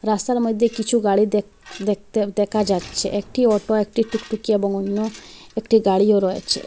রাস্তার মধ্যে কিছু গাড়ি দেখ দেখতে দেখা যাচ্ছে একটি অটো একটি টুকটুকি এবং অন্য একটি গাড়িও রয়েচে।